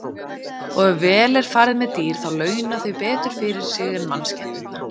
Og ef vel er farið með dýr þá launa þau betur fyrir sig en mannskepnurnar.